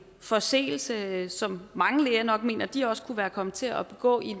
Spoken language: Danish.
forseelse som mange læger nok mener de også kunne være kommet til at begå i